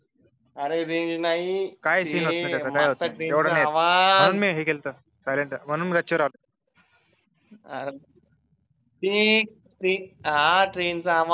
अरे रेंज नाही आवाज म्हणून मी गच्चीवर आलो. आर ठी ठीक ट्रेनचा आवाज